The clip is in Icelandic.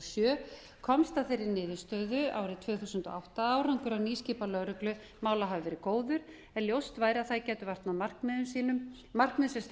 sjö komst að þeirri niðurstöðu árið tvö þúsund og átta að árangur af nýskipan lögreglumála hafi verið góður en ljóst væri að það gæti vart með markmiðum sem stefnt væri